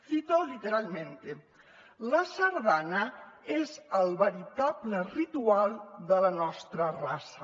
cito literalmente la sardana és el veritable ritual de la nostra raça